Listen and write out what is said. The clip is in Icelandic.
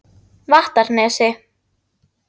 Vattarnesi